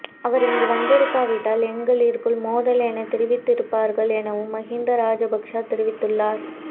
அவர் இங்கு வந்திருக்காவிட்டால் எங்களிற்குள் மோதல் என தெரிவித்திருப்பார்கள் எனவும் மகிந்த ராஜபக்ச தெரிவித்துள்ளார்